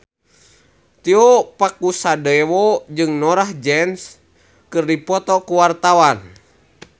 Tio Pakusadewo jeung Norah Jones keur dipoto ku wartawan